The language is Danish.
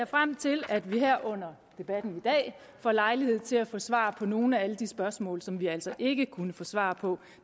frem til at vi her under debatten i dag får lejlighed til at få svar på nogle af alle de spørgsmål som vi altså ikke kunne få svar på